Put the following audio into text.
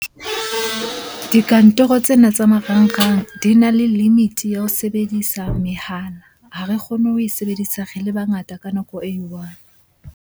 Dikantoro tsena tsa marangrang di na le limit-e ya ho sebedisa mehala. Ha re kgone ho e sebedisa re le bangata ka nako e i-one.